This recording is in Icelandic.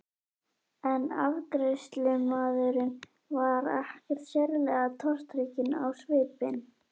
En afgreiðslumaðurinn var ekkert sérlega tortrygginn á svipinn.